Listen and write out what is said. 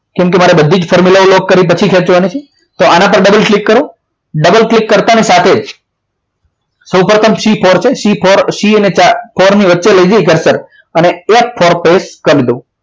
કેમ કે મારે બધી જ formula લોક કર્યા પછી ખેંચવાની છે તો આના પર double click કરો double click કરતાની સાથે જ સૌપ્રથમ C four છે C અને ચાર ની વચ્ચે લઈ જઈ અને F four press કરી દો